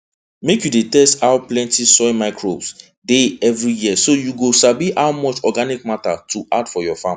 make you dey test how plenty soil microbes dey every year so you go sabi how much organic matter to add for your farmland